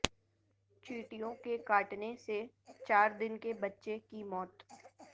چیونٹیوں کے کاٹنے سے چار دن کے بچے کی موت